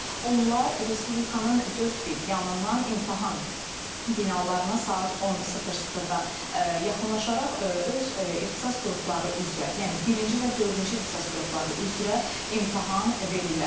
Onlar respublikanın dörd bir yanından imtahan binalarına saat 10:00-da yaxınlaşaraq öz ixtisas qrupları üzrə, yəni birinci və dördüncü ixtisas qrupları üzrə imtahan verirlər.